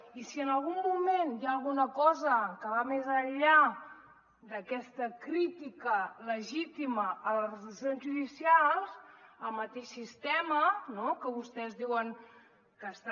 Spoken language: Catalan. i si en algun moment hi ha alguna cosa que va més enllà d’aquesta crítica legítima a les resolucions judicials el mateix sistema no que vostès diuen que està